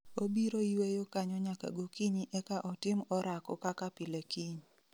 Obiro yueyo kanyo nyaka gokinyi eka otim orako kaka pile kiny